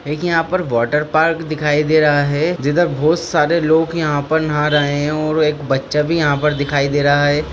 एक यहा पर वाटर पार्क दिखाई दे रहा हे जिधर बहुत सारे लोग यहा पर नहा रहे है और एक बच्चा भी यहा पर दिखाई दे रहा है।